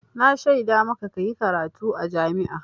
Na shaida maka ka yi karatu a jami'a.